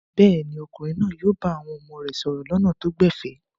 Bẹ́ẹ̀ ni, ọkùnrin náà yóò bá àwọn ọmọ rẹ̀ sọ̀rọ̀ lọ́nà tó gbẹ̀fẹ̀.